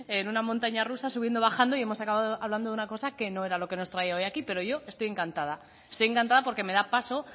en una montaña rusa subiendo bajando y hemos acabado hablando de una cosa que no era lo que nos trae hoy aquí pero yo estoy encantada estoy encantada porque me da paso